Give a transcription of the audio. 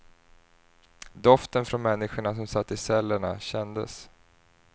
Doften från människorna som satt i cellerna kändes.